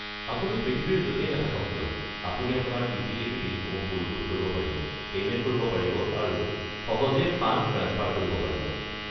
আপুনি পৃথিৱীৰ য'তেই নাথাকক কিয়, আপুনি অপোনাৰ ইউটিলিটি বিলসমূহ পৰিশোধ কৰিব পাৰিব, পেইমেণ্ট কৰিব পাৰিব আৰু সহজেই ফাণ্ড ট্ৰাঞ্চফাৰ কৰিব পাৰিব।